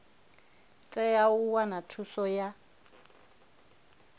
tea u wana thuso ya